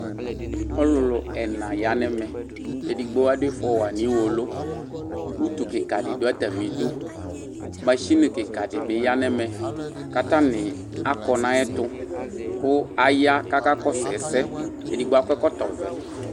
ɔlʋlʋ ɛnaa ya nɛmɛ edigbo adʋ iƒɔwa niwolo ʋtʋ kikadi dʋ atamidʋ NA kikiadi bi ya nʋmɛ katani akɔ nʋ ayuɛtʋ kʋ aya kaka kɔsʋ ɛsɛ